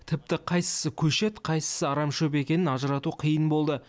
тіпті қайсысы көшет қайсысы арамшөп екенін ажырату қиын болды